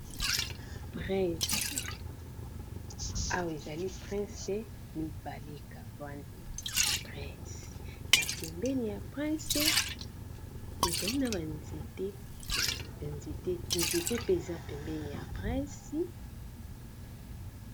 Prince awa ezali prince mibalekaani prince na mpembeni ya prince ezali na ba nzete mpe eza pembeni ya prince.